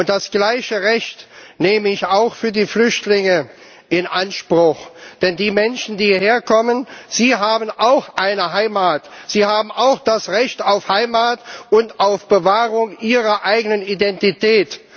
Und das gleiche Recht nehme ich auch für die Flüchtlinge in Anspruch. Denn die Menschen, die hierher kommen, sie haben auch eine Heimat, sie haben auch das Recht auf Heimat und auf Bewahrung ihrer eigenen Identität.